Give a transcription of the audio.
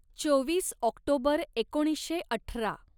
चोवीस ऑक्टोबर एकोणीसशे अठरा